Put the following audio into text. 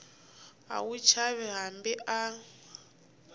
a wu chavi hambi a